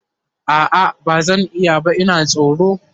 a'a bazan iya ba Ina tsoro